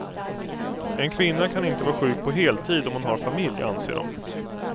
En kvinna kan inte vara sjuk på heltid om hon har familj, anser de.